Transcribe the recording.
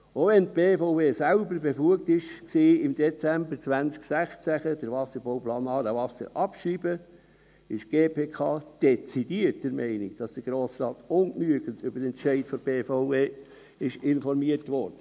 Auch wenn die BVE selber befugt war, im Dezember 2016 den Wasserbauplan «Aarewasser» abzuschreiben, ist die GPK dezidiert der Meinung, dass der Grosse Rat ungenügend über den Entscheid der BVE informiert wurde.